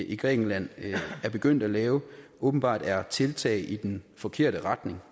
i grækenland er begyndt at lave åbenbart er et tiltag i den forkerte retning